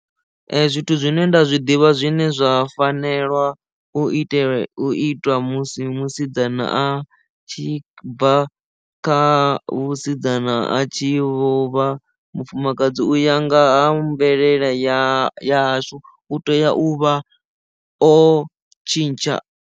Zwithu zwine nda zwiḓivha zwine zwa fanelwa u itela u itwa musi musidzana a tshi bva kha vhusidzana a tshi lovha mufumakadzi u ya nga ha mvelele ya hashu u tea u vha o tshintsha.